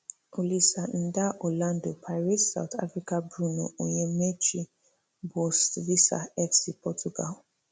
olisa ndah orlando pirates south africa bruno onyemaechi boavista fc portugal